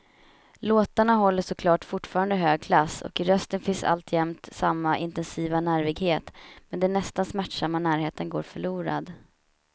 Låtarna håller såklart fortfarande hög klass och i rösten finns alltjämt samma intensiva nervighet, men den nästan smärtsamma närheten går förlorad.